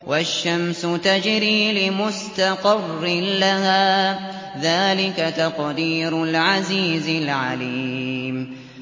وَالشَّمْسُ تَجْرِي لِمُسْتَقَرٍّ لَّهَا ۚ ذَٰلِكَ تَقْدِيرُ الْعَزِيزِ الْعَلِيمِ